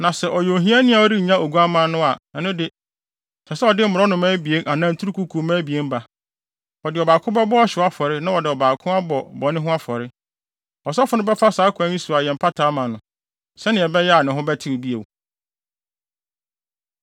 Na sɛ ɔyɛ ohiani a ɔrennya oguamma no a, ɛno de, ɛsɛ sɛ ɔde mmorɔnoma abien anaa nturukuku mma abien ba. Wɔde ɔbaako bɛbɔ ɔhyew afɔre na wɔde ɔbaako abɔ bɔne ho afɔre. Ɔsɔfo no bɛfa saa kwan yi so ayɛ mpata ama no, sɛnea ɛbɛyɛ a ne ho bɛtew bio.’ ”